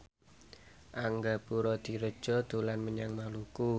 Angga Puradiredja dolan menyang Maluku